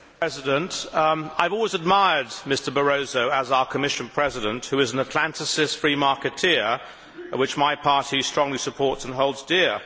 Mr President, I have always admired Mr Barroso as our Commission President, who is an Atlanticist free marketeer, which my party strongly supports and holds dear.